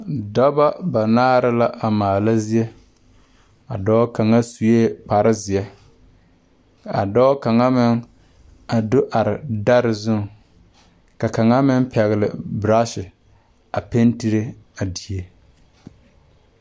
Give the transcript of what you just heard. Dɔbɔ banaare la a maala zie a dɔɔ kaŋa suee kparezeɛ kaa dɔɔ kaŋa meŋ a do are dɛre zuŋ ka kaŋa meŋ pɛgle braashi a pentire a die.